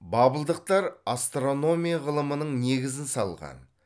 бабылдықтар астрономия ғылымының негізін салған